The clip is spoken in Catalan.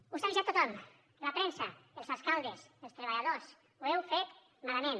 us ha avisat tothom la premsa els alcaldes els treballadors ho heu fet malament